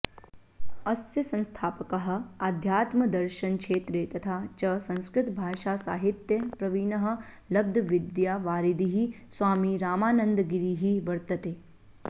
अस्य संस्थापकः आध्यात्मदर्शनक्षेत्रे तथा च संस्कृतभाषासाहित्ये प्रवीणः लब्धविद्यावारिधिः स्वामी रामानन्दगिरिः वर्तते